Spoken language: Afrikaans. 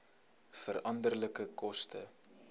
veranderlike koste